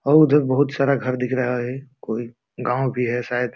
और उधर बहुत सारा घर दिख रहा है। कोई गांव भी है शायद।